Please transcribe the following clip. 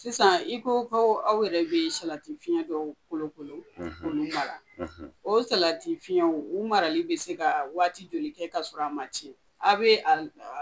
Sisan i ko ko aw bɛ salatisiɲɛ dɔw kolokolo k'olu mara la o salatisiɲɛw marali bɛ se ka waati joli kɛ k'a sɔrɔ a ma tiɲɛ a bɛ a